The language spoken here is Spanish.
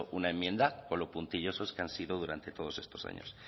una enmienda con lo puntilloso que han sido durante todos estos años